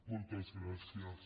moltes gràcies